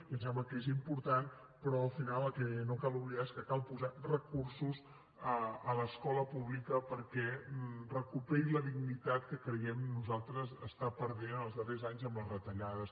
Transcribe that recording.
i ens sembla que és important però al final el que no cal oblidar és que cal posar recursos a l’escola pública perquè recuperi la dignitat que creiem nosaltres està perdent en els darrers anys amb les retallades